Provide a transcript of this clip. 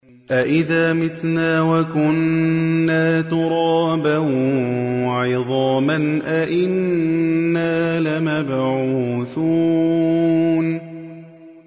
أَإِذَا مِتْنَا وَكُنَّا تُرَابًا وَعِظَامًا أَإِنَّا لَمَبْعُوثُونَ